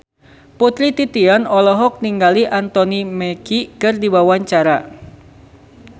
Putri Titian olohok ningali Anthony Mackie keur diwawancara